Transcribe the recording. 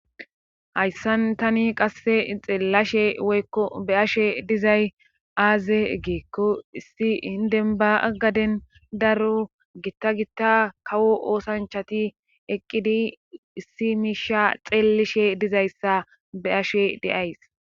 hayssan tani qasse xillashe woykko be'ashe dizay aaze egeekko issi indenba aggaden daro gitta gitta kawo oosanchati eqqidi issi miisha xeellishe dizayssa be ashe de'ays